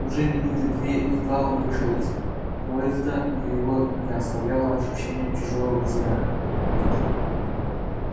уже минуты две едва он вышел из поезда его не оставляло ощущение чужого взгляда